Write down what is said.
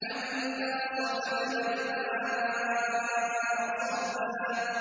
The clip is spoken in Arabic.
أَنَّا صَبَبْنَا الْمَاءَ صَبًّا